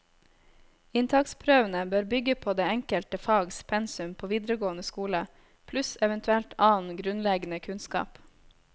Inntaksprøvene bør bygge på det enkelte fags pensum på videregående skole, pluss eventuelt annen grunnleggende kunnskap.